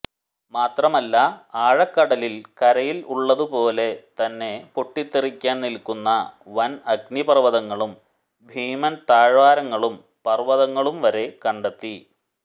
മാത്രമല്ല ആഴക്കടലിൽ കരയിൽ ഉള്ളതു പോലെ തന്നെ പൊട്ടിത്തെറിക്കാൻ നിൽക്കുന്ന വൻ അഗ്നിപർവതങ്ങളും ഭീമൻ താഴ്വാരങ്ങളും പർവതങ്ങളും വരെ കണ്ടെത്തി